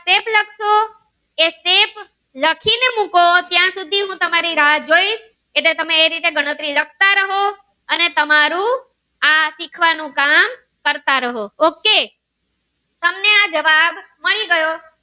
લખી ને મુકો ત્યાં સુધી હું તમારી રાહ જોઇ એટલે તમે એ રીતે ગણતરી લખતા રહો અને તમારું આ શીખવાનું કામ કરતા રહો ok